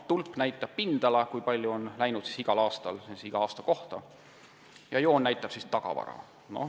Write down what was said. Tulbad kajastavad igal aastal hukkunud puistute pindala ja joon näitab tagavara.